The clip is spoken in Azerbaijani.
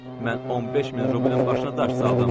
Mən 15 min rublumun başına daş saldım.